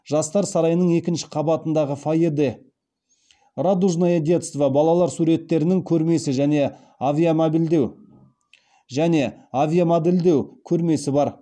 жастар сарайының екінші қабатындағы фойеде радужное детство балалар суреттерінің көрмесі және авиамодельдеу көрмесі бар